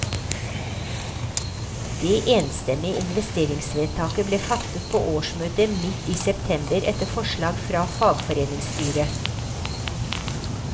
Det enstemmige investeringsvedtaket ble fattet på årsmøtet midt i september etter forslag fra fagforeningsstyret.